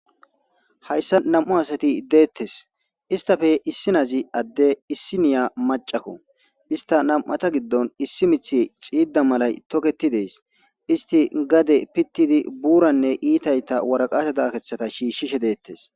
Hayssa nam7u asati deettes istafe issi nazi adde issi niya macakko ista nam7ata giddon issi mithe xiida malay toketi dees isti gade pittidi buuranne iitayta waraqasha dakeththata shiishshishe deettes.